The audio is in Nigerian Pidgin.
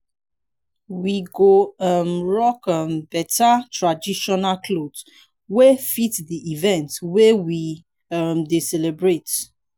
we go um rock um better traditional cloth wey fit di event wey we um dey celebrate